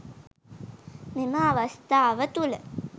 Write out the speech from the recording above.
මෙම අවස්ථාව තුළ